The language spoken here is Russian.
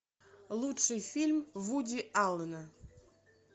лучший фильм вуди аллена